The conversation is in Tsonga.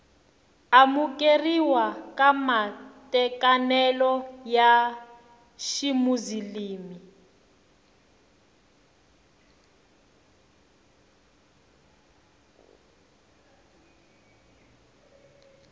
amukeriwa ka matekanelo ya ximuzilimi